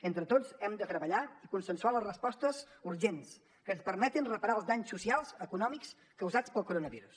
entre tots hem de treballar i consensuar les respostes urgents que ens permetin reparar els danys socials econòmics causats pel coronavirus